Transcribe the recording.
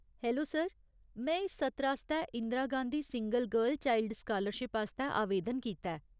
Hello sir, में इस सत्र आस्तै Indira Gandhi single girl child scholarship आस्तै आवेदन कीता ऐ।